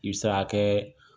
I bɛ se ka kɛ